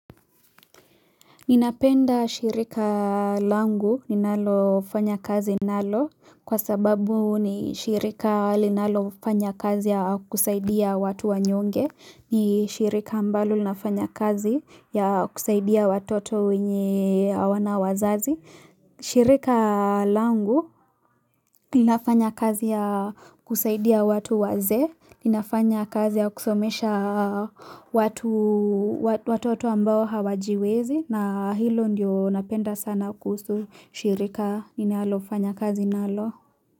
Ninapenda shirika langu, ninalofanya kazi nalo, kwa sababu ni shirika linalofanya kazi ya kusaidia watu wanyonge, ni shirika ambalo linafanya kazi ya kusaidia watoto wenye awana wazazi. Shirika langu Ninafanya kazi ya kusaidia watu wazee Ninafanya kazi ya kusomesha watu watoto ambao hawajiwezi na hilo ndio napenda sana kuhusu shirika ninalofanya kazi nalo.